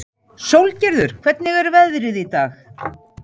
Sólgerður, hvernig er veðrið í dag?